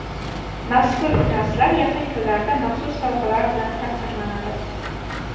Mazkur finalchilar yaqin kunlarda maxsus sovg‘alar bilan taqdirlanadi.